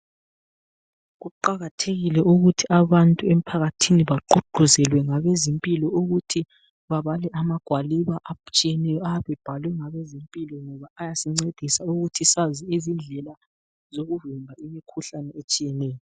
Kuqakathekile ukuthi abantu emphakathini bagqugquzelwe ngabezempilo ukuthi babale amagwaliba atshiyeneyo abe ebhalwe ngabezempilo ngoba ayasinceda ukuthi sazi izindlela zokuvimba imikhuhlane etshiyeneyo.